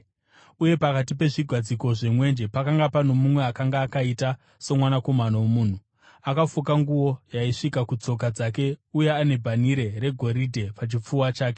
uye pakati pezvigadziko zvemwenje pakanga pano mumwe akanga “akaita somwanakomana womunhu,” akafuka nguo yaisvika kutsoka dzake uye ane bhanhire regoridhe pachipfuva chake.